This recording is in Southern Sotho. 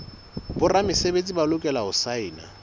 boramesebetsi ba lokela ho saena